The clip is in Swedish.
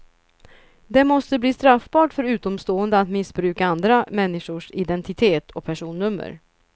Det måste bli straffbart för utomstående att missbruka andra människors identitet och personnummer.